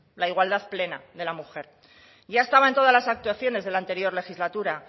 la igualdad plena de la mujer ya estaba en todas las actuaciones de la anterior legislatura